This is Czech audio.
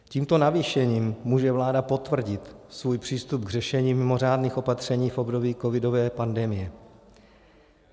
Tímto navýšením může vláda potvrdit svůj přístup k řešení mimořádných opatření v období covidové pandemie.